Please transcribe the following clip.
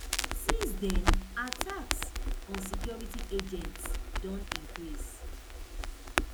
since den attacks on security agents don increase